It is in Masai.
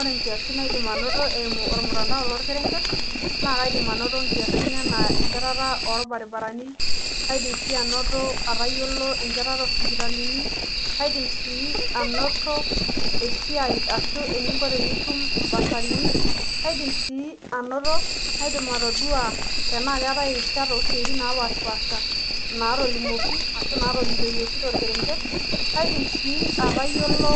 Ore inkiasin naidim anoto eimu olmutandao lokereng'et, naa kaidim anoto ingiasin enaa enchetata olbarabarani, kaidim sii anoto atayolo enchetata oosipitalini, kadim sii anoto esia ashu eningo tenitu esiai oombasarini, kaidim sii anoto kaidim atoduo enaa keetai irishat oosiatin naapashipaasha naatolimuoki ashu naatolikioki tolkerenget, kadim sii atoyolo